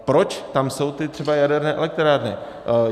Proč tam jsou třeba ty jaderné elektrárny?